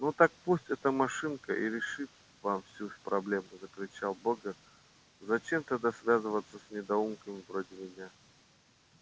ну так пусть эта машинка и решит вам всю проблему закричал богерт зачем тогда связываться с недоумками вроде меня